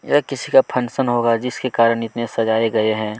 यह किसी का फंक्शन होगा जिसके कारण इतने सजाये गए हैं।